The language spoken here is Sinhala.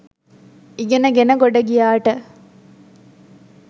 ඉගෙන ගෙන ගොඩ ගියාට